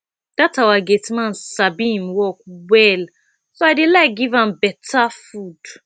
dat our gate man sabi im work well so i dey like to give am beta food